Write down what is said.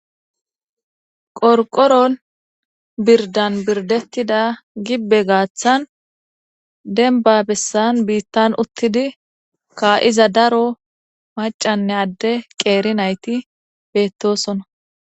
qorqorol birdan birdettida gibbe gaaththan denba bessan biittan uttidi ka7iza daro macanne adde qeeri nayti bettosona